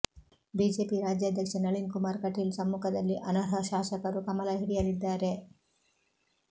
BJP ರಾಜ್ಯಾಧ್ಯಕ್ಷ ನಳಿನ್ ಕುಮಾರ್ ಕಟೀಲ್ ಸಮ್ಮುಖದಲ್ಲಿ ಅನರ್ಹಶಾಸಕರು ಕಮಲ ಹಿಡಿಯಲಿದ್ದಾರೆ